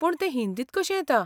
पूण तें हिंदींत कशें येता?